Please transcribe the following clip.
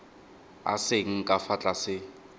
a seng ka fa tlase